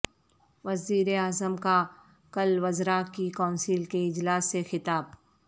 وزیراعظم کا کل وزراء کی کونسل کے اجلاس سے خطاب